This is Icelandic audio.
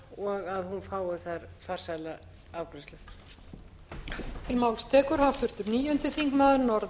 og landbúnaðarnefndar og að hún fái þar farsæla afgreiðslu